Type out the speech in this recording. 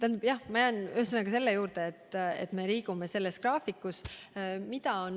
Ühesõnaga, ma jään selle juurde, et me liigume olemasolevas graafikus.